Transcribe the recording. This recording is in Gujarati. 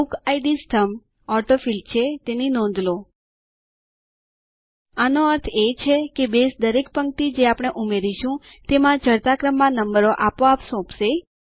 બુકિડ સ્તંભ ઓટોફિલ્ડ છે તેની નોંધ લો આનો અર્થ છે કે બેઝ દરેક પંક્તિ જે આપણે ઉમેરીશું તેમાં ચડતા ક્રમમાં નંબરો આપોઆપ સોંપશે